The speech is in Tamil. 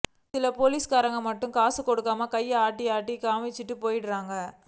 சில போலீஸ்காரங்க மட்டும் காசு கொடுக்காம கைய ஆட்டி டாடா காமிச்சுட்டுப் போய்ருவாங்க